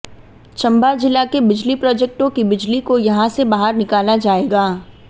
चंबा जिला के बिजली प्रोजेक्टों की बिजली को यहां से बाहर निकाला जाएगा